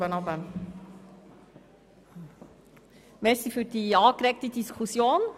Danke für die angeregte Diskussion.